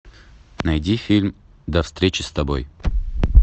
найди фильм до встречи с тобой